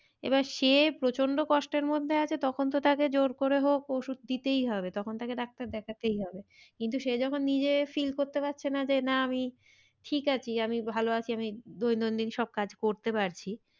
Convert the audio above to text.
এবার সে প্রচন্ড কষ্টের মধ্যে আছে তখন তো তাকে জোর করে হোক ওষুধ দিতেই হবে তখন তাকে ডাক্তার দেখাতেই হবে। কিন্তু সে যখন নিজে fill করতে পারছে না যে না আমি ঠিক আছি আমি ভালো আছি আমি দৈনন্দিন সব কাজ করতে পারছি